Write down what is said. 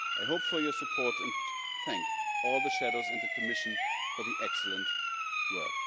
I hope for your support and thank all the shadows and the Commission for the excellent work.